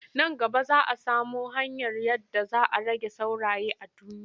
Nan gaba za samo hanyar yadda za a rage sauraye a duniya.